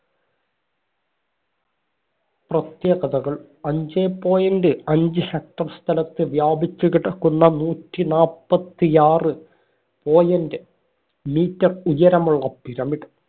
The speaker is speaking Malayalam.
പ്രത്യേകതകള്‍. അഞ്ചേ point അഞ്ച് hecter സ്ഥലത്ത് വ്യാപിച്ചു കിടക്കുന്ന നൂറ്റി നാപ്പത്തിയാറ് point meter ഉയരമുള്ള pyramid